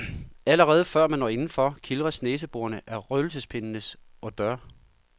Allerede før man når indenfor, kildres næseborene af røgelsespindenes odeur.